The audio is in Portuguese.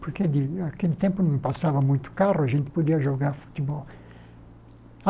Porque naquele tempo não passava muito carro, a gente podia jogar futebol.